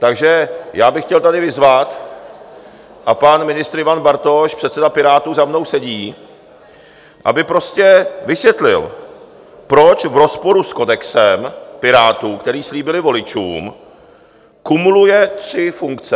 Takže já bych chtěl tady vyzvat - a pan ministr Ivan Bartoš, předseda Pirátů, za mnou sedí - aby prostě vysvětlil, proč v rozporu s kodexem Pirátů, který slíbili voličům, kumuluje tři funkce.